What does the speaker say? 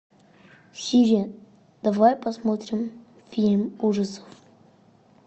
сири давай посмотрим фильм ужасов